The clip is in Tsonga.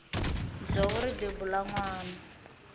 dzovo ri bebula nwana